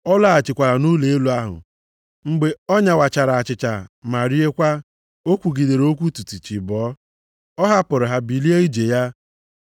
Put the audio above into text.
Ọ laghachikwara nʼụlọ elu ahụ, mgbe ọ nyawachara achịcha ma riekwa, o kwugidere okwu tutu chi abọọ, ọ hapụrụ ha bilie ije ya.